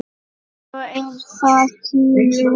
Svo er það tíminn.